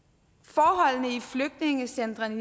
forholdene i flygtningecentrene